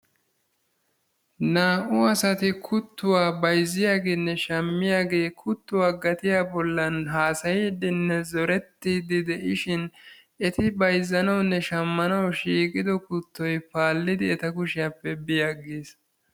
naa'u asati kuttuwa bayzziyageene shamiyagee kuttuwa gatiya bollan haasayiidinne zorettiidi de'ishin eti bayzzanawunne shammanawu shiiqiddo kutoy paalidi eta kushshiyappe bi agiis.